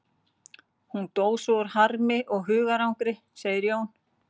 Hún dó svo úr harmi og hugarangri, segir Jón.